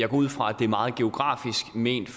ud fra at det er meget geografisk ment